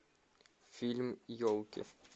фильм елки